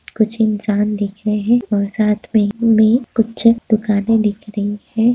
कुछ इंसान दिख रहे हैं और साथ में कुछ दुकाने दिख रही हैं।